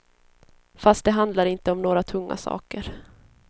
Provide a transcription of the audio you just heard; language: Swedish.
Fast det handlar inte om några tunga saker.